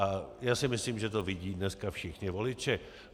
A já si myslím, že to vidí dneska všichni voliči.